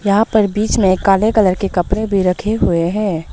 यहां पर बीच में काले कलर के कपड़े भी रखे हुए हैं।